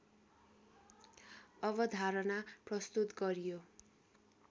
अवधारणा प्रस्तुत गरियो